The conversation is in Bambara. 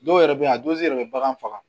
Dɔw yɛrɛ bɛ yan a dɔw yɛrɛ bɛ bagan faga